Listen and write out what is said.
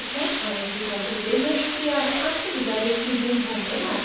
यह स्क्रिप्ट बिंदु पांडे द्वारा अनुवादित है आईआईटी बॉम्बे की ओर से मैं श्रुति आर्य अब आपसे विदा लेती हूँ धन्यवाद